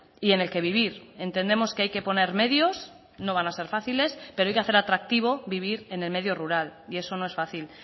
y en el que vivir entendemos que hay que poner medios no van a ser fáciles pero hay que hacer atractivo vivir en el medio rural y eso no es fácil